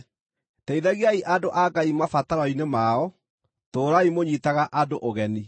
Teithagiai andũ a Ngai mabataro-inĩ mao. Tũũrai mũnyiitaga andũ ũgeni.